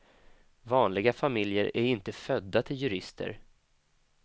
Vanliga familjer är inte födda till jurister.